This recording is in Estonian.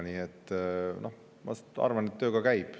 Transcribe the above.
Nii et, noh, ma arvan, et töö ka käib.